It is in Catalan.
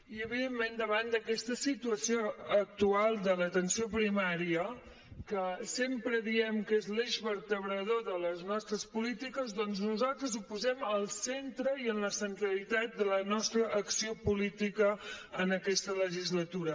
i evidentment davant d’aquesta situació actual de l’atenció primària que sempre diem que és l’eix vertebrador de les nostres polítiques doncs nosaltres ho posem al centre i en la centralitat de la nostra acció política en aquesta legislatura